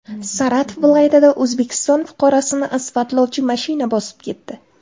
Saratov viloyatida O‘zbekiston fuqarosini asfaltlovchi mashina bosib ketdi.